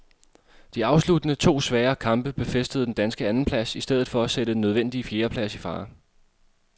De afsluttende to svære kamp befæstede den danske andenplads i stedet for at sætte den nødvendige fjerdeplads i fare.